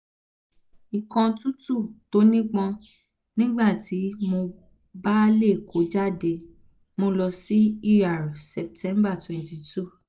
ikọ̀ tútù tó nípọn nígbà tí mo bá lè kọ́ jáde mo lọ sí er septmber twenty two